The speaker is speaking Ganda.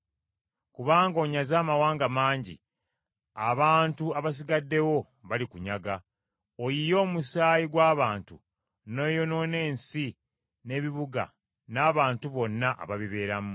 Kubanga onyaze amawanga mangi, abantu abasigaddewo balikunyaga; Oyiye omusaayi gw’abantu, n’oyonoona ensi n’ebibuga n’abantu bonna ababibeeramu.”